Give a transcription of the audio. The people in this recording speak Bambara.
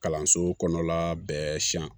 Kalanso kɔnɔna bɛɛ siyan